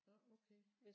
Nåh okay